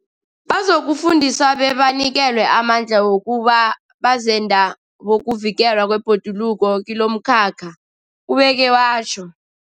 Bazokufundiswa bebanikelwe amandla wokuba bazenda bokuvikelwa kwebhoduluko kilomkhakha, ubeke watjho.